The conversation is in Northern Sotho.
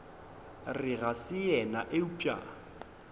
re ga se yena eupša